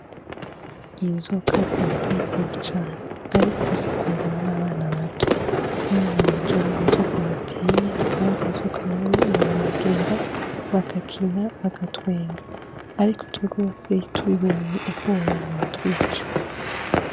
Inzoka zirateye ubwoba cane ariko zikundana n' abana bato, umwana wanje abonye inzoka ntatinya kandi inzoka nayo iramwegera bagakina bagatwenga ariko twebwe abavyeyi tubibonye ubwoba buratwica.